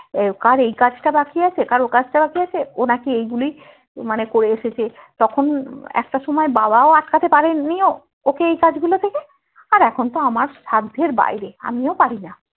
ও কার এই কাজটা বাকি আছে কার ওই কাজটা বাকি আছে ও নাকি এই গুলোই মানে করে এসেছে তখন একটা সময় বাবাও আটকাতে পারেননিও ওকে এই কাজ গুলো থেকে আর এখনতো আমার সাধ্যের বাইরে আমিও পারিনা